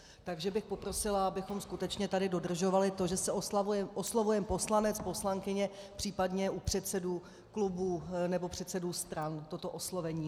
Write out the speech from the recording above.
Takže bych poprosila, abychom skutečně tady dodržovali to, že se oslovujeme poslanec, poslankyně, případně u předsedů klubů nebo předsedů stran toto oslovení.